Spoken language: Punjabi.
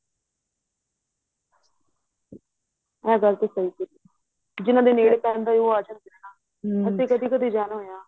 ਏ ਗੱਲ ਤੇ ਸਹੀਂ ਕੀਤੀ ਜਿੰਨਾ ਦੇ ਨੇੜੇ ਪੈਂਦਾ ਏ ਉਹ ਆਂ ਜਾਣ ਅਸੀਂ ਤੇ ਕਦੀਂ ਕਦੀਂ ਜਾਣਾ ਹੋਇਆ